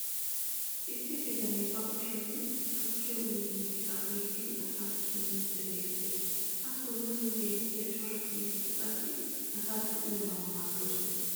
issi bitanee ba kushshiyan tukkiya uyyiyo miishshaa oyqqidi asaassi immiidi beetees. ha sohuwan beetiya cora siinetti qassi asaassi uyyanawu maadoosona.